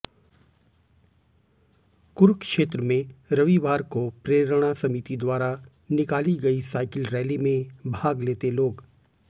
कुरुक्षेत्र में रविवार को प्रेरणा समिति द्वारा निकाली गई साइकिल रैली में भाग लेते लोग